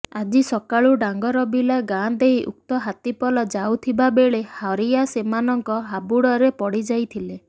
ଆଜି ସକାଳୁ ଡାଙ୍ଗରବିଲା ଗାଁ ଦେଇ ଉକ୍ତ ହାତୀପଲ ଯାଉଥିବା ବେଳେ ହରିଆ ସେମାନଙ୍କ ହାବୁଡରେ ପଡିଯାଇଥିଲେ